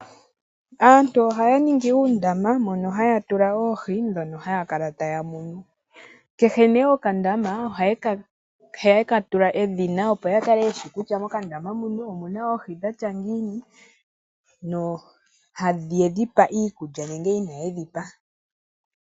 Aantu ohaya ningi uundama mono haya tulamo oohi dhono haya kala taya munu kehe nee okandama ohaya kala tula edhina opo ya kale yeshi kutya mokandama muno omuna oohi dhili ngiini nongele oyedhipa iikulya nenge inayedhipa .